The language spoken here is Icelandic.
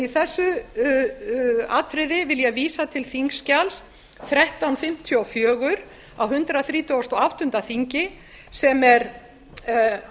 í þessu atriði á ég vísa til þingskjals þrettán hundruð fimmtíu og fjögur á hundrað þrítugasta og áttunda þingi sem er